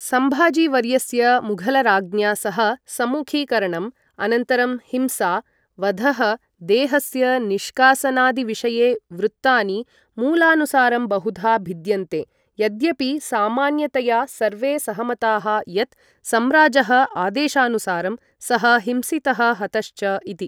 सम्भजीवर्यस्य मुघलराज्ञा सह सम्मुखीकरणम्, अनन्तरं हिंसा, वधः, देहस्य निष्कासनादिविषये वृत्तानि मूलानुसारं बहुधा भिद्यन्ते, यद्यपि सामान्यतया सर्वे सहमताः यत् सम्राजः आदेशानुसारं सः हिंसितः हतश्च इति।